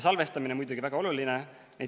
Salvestamine on muidugi väga oluline.